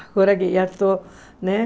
Agora que já estou, né?